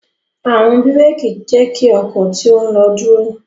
Awọn biréki jẹ ki ọkọ to ń lo duro.